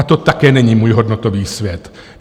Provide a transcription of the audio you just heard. A to také není můj hodnotový svět.